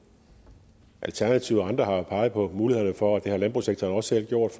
alternativet og andre har jo peget på mulighederne for og det har landbrugssektoren også selv gjort